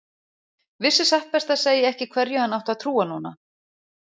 Vissi satt best að segja ekki hverju hann átti að trúa núna.